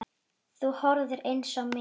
Þú horfir eins á mig.